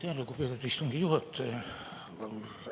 Aitäh, lugupeetud istungi juhataja!